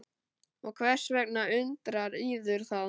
Og hvers vegna undrar yður það?